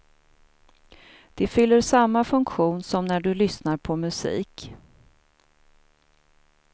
De fyller samma funktion som när du lyssnar på musik.